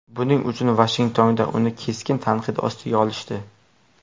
Buning uchun Vashingtonda uni keskin tanqid ostiga olishdi.